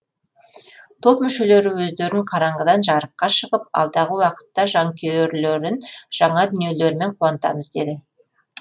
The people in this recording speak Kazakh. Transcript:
топ мүшелері өздерін қараңғыдан жарыққа шығып алдағы уақытта жанкүйерлерін жаңа дүниелерімен қуантамыз деді